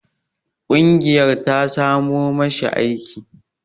Ƙungiyar ta samo ma shi aiki.